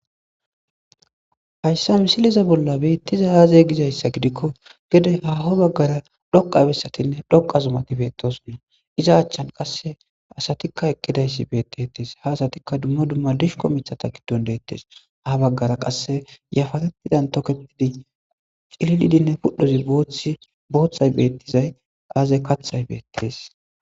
Hayissa missilezan Bettizay azze gizzayssa gikko gede haho baggara dhoqqa bessati dhoqqa zummati bettossona iza achchan qase asatikka eqqidaysati bettetes ha asatiika duma duma dishiko miththata garsan dettes ha baggan qase yapparan tokketidi cillilidi pudhoy boththay bettidi azze kaththay bettes.